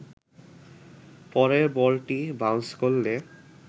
পরের বলটি বাউন্স করলে